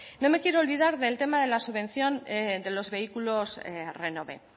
no me quiero olvidar del tema del tema de la subvención de los vehículos renove